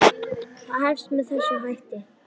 Það hefst með þessum hætti